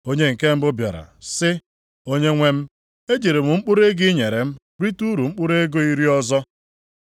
“Onye nke mbụ bịara sị, ‘Onyenwe m e jiri m mkpụrụ ego ị nyere m rite uru mkpụrụ ego iri ọzọ.’